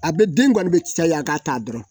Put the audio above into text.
A bɛ den kɔni bɛ caya a ka ta dɔrɔn